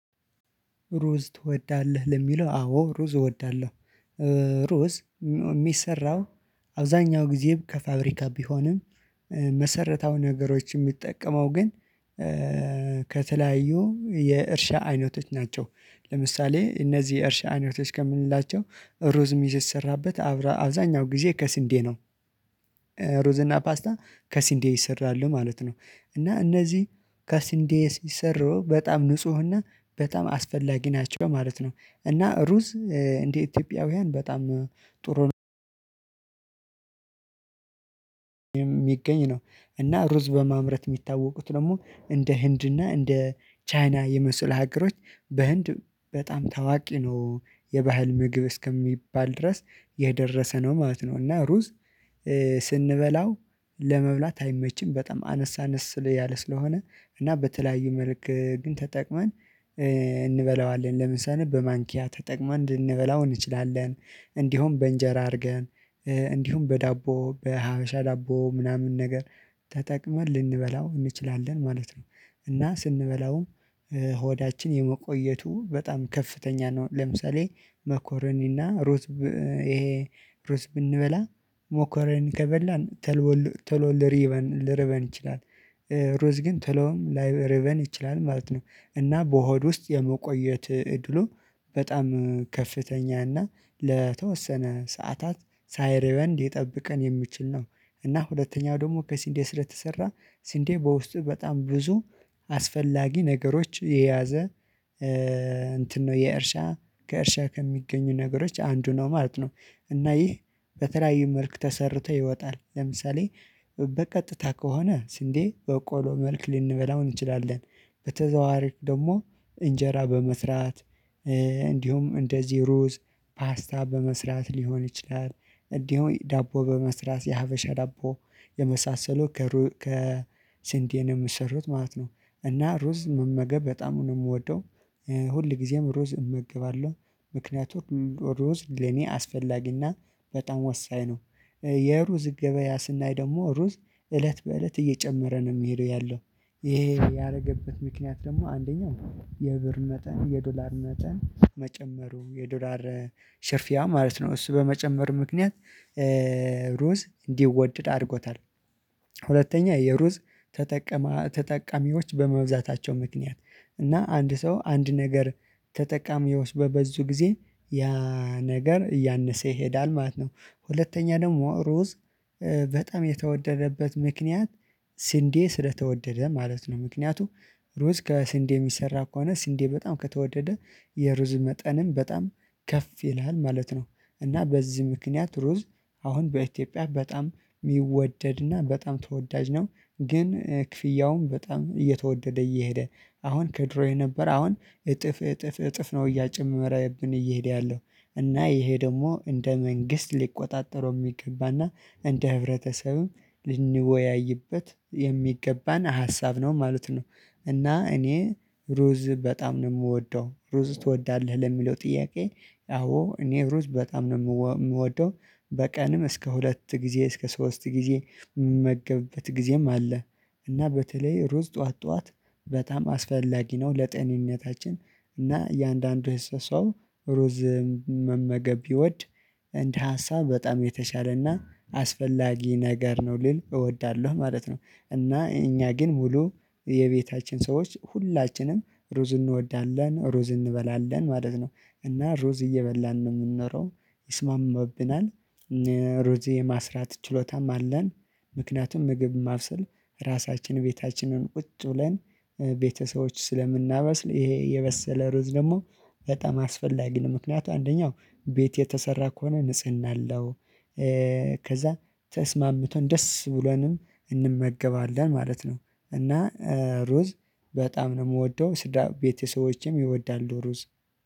ሩዝ ትወዳለህ? ለሚለው አዎ ሩዝ እወዳለሁ። ሩዝ ሚሰራው አብዛኛው ጊዜ ከፋብሪካ ቢሆንም መሰረታው ነገሮች የሚጠቀመው ግን ከተለያዩ የእርሻ አይነቶች ናቸው። ለምሳሌ እነዚህ የእርሻ አይነቶች ከምንላቸው ሩዝ ሚሰራበት አብዛኛው ጊዜ ከስንዴ ነው። ሩዝ እና ፓስታ ከስንዴ ይሰራሉ ማለት ነው። እና እነዚህ ከስንዴ ሲሰሩ በጣም ንፁህና በጣም አስፈላጊ ናቸው ማለት ነው። እና ሩዝ እንዴ ኢትዮጵያውያን በጣም ጥሩ ሚገኝ ነው። እና ሩዝ በማምረት ሚታወቁት ደግሞ እንደ ህንድና እንደ ቻይና የመሰሉ ሀገሮች በህንድ በጣም ታዋቂ ነው። የባህል ምግብ እስከሚባል ድረስ የደረሰ ነው ማለት ነው። እና ሩዝ ስንበላው ለመብላት አይመችም በጣም አነሳነስ ስለያለ ስለሆነ እና በተለያዩ መልክ ግን ተጠቅመን እንበላዋለን ለምሳሌ በማንኪያ ተጠቅመን ልንበላው እንችላለን። እንዲሁም በእንጀራ አርገን እንዲሁም በዳቦ በሀበሻ ዳቦ ምናምን ነገር ተጠቅመን ልንበላው እንችላለን ማለት ነው። እና ስንበላውም ሆዳችን የመቆየቱ በጣም ከፍተኛ ነው። ለምሳሌ መኮረኒና ሩት ይሄ ሩዝ ብንበላ ሞኮረኒ ከበላን ተቶ ሊሪበን ልርበን ይችላል ሩዝ ግን ቶለውም ላይርበን ይችላል ማለት ነው። እና በሆድ ውስጥ የመቆየት እድሉ በጣም ከፍተኛ እና ለተወሰነ ሰዓታት ሳይርበን ሊጠብቀን የሚችል ነው። እና ሁለተኛው ደግሞ ከስንዴ ስለ ተሰራ ስንዴ በውስጡ በጣም ብዙ አስፈላጊ ነገሮች የያዘ እንትን ነው የእርሻ ከእርሻ ከሚገኙ ነገሮች አንዱ ነው ማለት ነው። እና ይህ በተለያዩ መልኩ ተሰርቶ ይወጣል ለምሳሌ በቀጥታ ከሆነ ስንዴ በቆሎ መልክ ልንበላው እንችላለን። በተዘዋዋሪ ደሞ እንጀራ በመስራት እንዲሁም እንደዚህ ሩዝ ፓስታ በመስራት ሊሆን ይችላል። እንዲሁም ዳቦ በመስራት የሀበሻ ዳቦ የመሳሰሉ ከስንዴ የምሰሩት ማለት ነው። እና ሩዝ መመገብ በጣም ነው ምወደው ሁል ጊዜም ሩዝ እመግባለሁ ምክንያቱም ሩዝ ለኔ አስፈላጊና በጣም ወሳኝ ነው። የሩዝ ገበያ ስናይ ደግሞ ሩዝ እለት በእለት እየጨመረ ነው ምሄደው ያለው። ይሄ ያረገበት ምክንያት ደግሞ አንደኛው የብር መጠን የዶላር መጠን መጨመሩ የዶላር ሽርፊያ ማለት ነው እሱ በመጨመር ምክንያት ሩዝ እንዲወደድ አርጎታል። ሁለተኛ የሩዝ ተጠቀማ ተጠቃሚዎች በመብዛታቸው ምክንያት እና አንድ ሰው አንድ ነገር ተጠቃሚዎች በበዙ ጊዜ ያ ነገር እያነሰ ይሄዳል ማለት ነው። ሁለተኛ ደግሞ ሩዝ በጣም የተወደደበት ምክንያት ስንዴ ስለተወደደ ማለት ነው ምክንያቱ ሩዝ ከስንዴ ሚሰራ ከሆነ ስንዴ በጣም ከተወደደ የሩዝ መጠንም በጣም ከፍ ይላል ማለት ነው። እና በዚህ ምክንያት ሩዝ አሁን በኢትዮጵያ በጣም ሚወደድና በጣም ተወዳጅ ነው። ግን ክፍያውም በጣም እየተወደደ እየሄደ አሁን ከድሮ የነበረ አሁን እጥፍ እጥፍ እጥፍ ነው እያጨመረብን እየሄደ ያለው። እና ይሄ ደሞ እንደ መንግስት ሊቆጣጠረው ሚገባና እንደ ህብረተሰብም ልንወያይበት የሚገባን ሀሳብ ነው ማለት ነው። እና እኔ ሩዝ በጣም ነው የምወደው። ሩዝ ትወዳለህ? ለሚለው ጥያቄ አዎ እኔ ሩዝ በጣም ነው ምወደው። በቀንም እስከ ሁለት ጊዜ እስከ ሶስት ጊዜ ምመገብበት ጊዜም አለ። እና በተለይ ሩዝ ጠዋት ጠዋት በጣም አስፈላጊ ነው። ለጤንነታችን እና የአንዳንዱ ሰው ሩዝ መመገብ ቢወድ እንደ ሀሳብ በጣም የተሻለና አስፈላጊ ነገር ነው ልል እወዳለሁ ማለት ነው። እና እኛ ግን ሙሉ የቤታችን ሰዎች ሁላችንም ሩዝ እንወዳለን ሩዝ እንበላለን ማለት ነው። እና ሩዝ እየበላን ነው ምንኖረው። ይስማማብናል ሩዝ የማስራት ችሎታም አለን። ምክንያቱም ምግብ ማብሰል ራሳችን ቤታችንን ቁጭ ብለን ቤተሰቦች ስለምናበስል ይሄ የበሰለ ሩዝ ደግሞ በጣም አስፈላጊ ነው ምክንያቱም አንደኛው ቤት የተሰራ ከሆነ ንጽህና አለው። ከዛ ተስማምቶን ደስ ብሎንም እንመገባለን ማለት ነው። እና ሩዝ በጣም ነው ምወደው ስድራ ቤተሰቦቼም ይወዳሉ ሩዝ